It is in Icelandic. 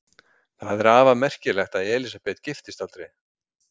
Það er afar merkilegt að Elísabet giftist aldrei.